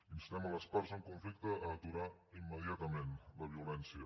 instem les parts en conflicte a aturar immediatament la violència